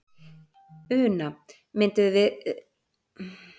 Una: Mynduð þið vilja hafa fleiri svona daga?